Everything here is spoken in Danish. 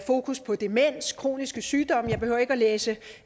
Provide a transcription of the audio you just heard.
fokus på demens kroniske sygdomme jeg behøver ikke at læse